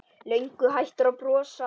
Löngu hættur að brosa.